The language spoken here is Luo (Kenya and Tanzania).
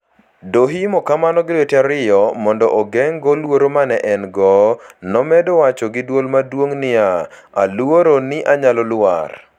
Dohoimo kamano gi lwete ariyo, mondo ogeng'go luoro ma ne en - go, nomedo wacho gi dwol maduong ' niya: "Aluoro ni anyalo lwar.